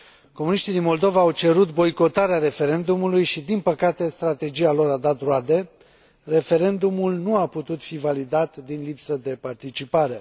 Comuniștii din Moldova au cerut boicotarea referendumului și, din păcate, strategia lor a dat roade, referendumul nu a putut fi validat din lipsă de participare.